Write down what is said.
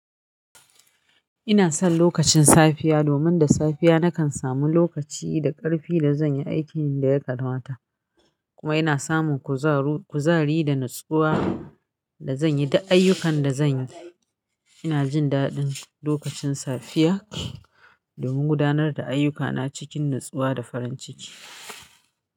Ina son lokacin safiya domin da safiya na kan samu lokaci da ƙarfi da zan yi aikin da ya kamata, kuma ina samun kuzari da natsuwa da zan yi duk ayyukan da zan yi. Ina jin daɗin lokacin safiya domin gudanar da ayyukana cikin natsuwa da farin ciki.